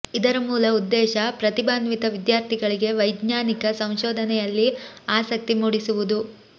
ಇದರ ಮೂಲ ಉದ್ದೇಶ ಪ್ರತಿಭಾನ್ವಿತ ವಿದ್ಯಾರ್ಥಿಗಳಿಗೆ ವೈಜ್ಞಾನಿಕ ಸಂಶೋಧನೆಯಲ್ಲಿ ಆಸಕ್ತಿ ಮೂಡಿಸುವುದು